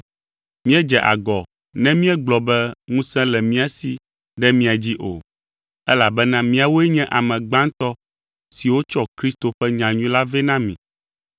Míedze agɔ ne míegblɔ be ŋusẽ le mía si ɖe mia dzi o, elabena míawoe nye ame gbãtɔ siwo tsɔ Kristo ƒe nyanyui la vɛ na mi.